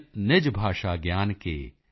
ਗਿਆਨ ਕੇ ਮਿਟਤ ਨ ਹਿਯ ਕੋ ਸੂਲ॥